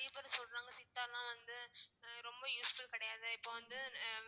நெறைய பேர் சொல்றாங்க சித்தா எல்லாம் வந்து அஹ் ரொம்ப useful கிடையாது இப்போ வந்து